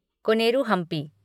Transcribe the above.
Koneru Hampi